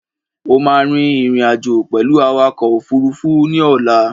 O máa rin ìrìn-àjò pẹ̀lú awakọ̀ òfuruufú ní ọ̀la.